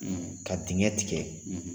Ka dingɛ tigɛ